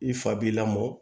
I fa b'i lamɔ